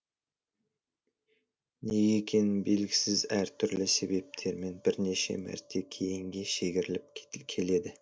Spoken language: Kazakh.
неге екені белгісіз әртүрлі себептермен бірнеше мәрте кейінге шегіріліп келеді